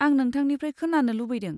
आं नोंथांनिफ्राय खोनानो लुबैदों।